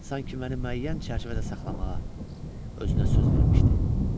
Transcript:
Sanki məni müəyyən çərçivədə saxlamağa özünə söz vermişdi.